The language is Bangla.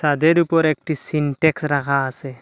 ছাদের উপর একটি সিন্টেক্স রাখা আসে।